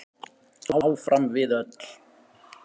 Áfram við öll.